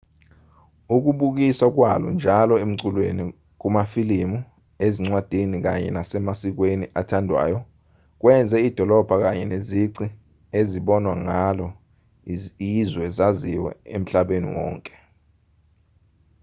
ukubukiswa kwalo njalo emculweni kumafilimu ezincwadini kanye nasemasikweni athandwayo kwenze idolobha kanye nezici ezibonwa ngalo izwe zaziwe emhlabeni wonke